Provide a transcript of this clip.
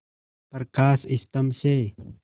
प्रकाश स्तंभ से